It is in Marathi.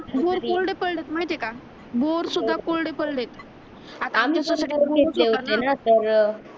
बोर कोरडे पडलेत माहित आहे का बोर सुद्धा कोरडे पडलेत तर